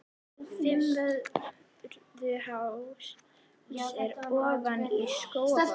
Fimmvörðuháls er ofan við Skógafoss.